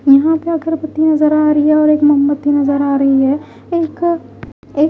यहां पे अगरबत्ती नजर आ रही है और एक मोमबत्ती नजर आ रही है एक--